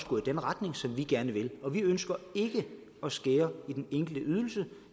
gå i den retning som vi gerne vil og vi ønsker ikke at skære i den enkelte ydelse